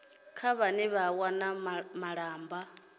kha vhane vha wana malamba